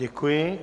Děkuji.